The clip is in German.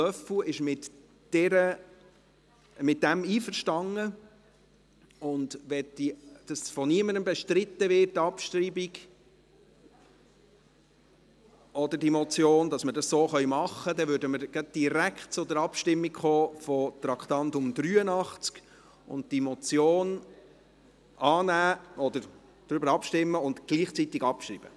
Löffel ist damit einverstanden, und wenn die Abschreibung von niemandem bestritten wird, würden wir gleich direkt zur Abstimmung kommen und gleichzeitig über die Abschreibung abstimmen.